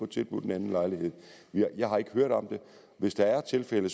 tilbudt en anden lejlighed jeg har ikke hørt om det hvis der er tilfælde